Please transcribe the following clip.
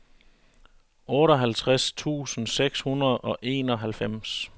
otteoghalvtreds tusind seks hundrede og enoghalvfems